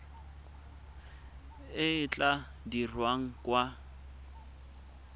e e tla dirwang kwa